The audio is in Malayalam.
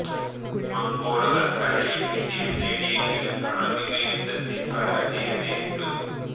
മംഗോളുകൾ കരയിൽ വിജയം നേടിയെങ്കിലും നാവിക യുദ്ധത്തിൽ പരാജയം നേരിട്ടു